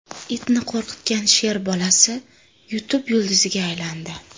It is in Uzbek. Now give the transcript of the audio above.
Itni qo‘rqitgan sher bolasi YouTube yulduziga aylandi .